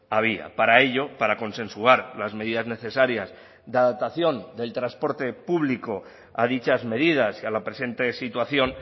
había para ello para consensuar las medidas necesarias de adaptación del transporte público a dichas medidas y a la presente situación